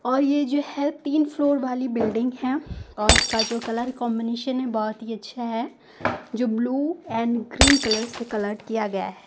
और ये जो है तीन फ्लोर वाली बिल्डिंग है और उसका जो कलर कॉन्बिनेशन है बहोत ही अच्छा है जो ब्लू एंड ग्रीन कलर से कलर्ड किया गया है।